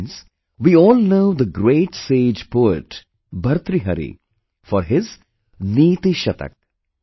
Friends, we all know the great sage poet Bhartrihari for his 'Niti Shatak'